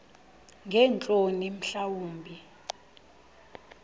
ngeentloni mhla wumbi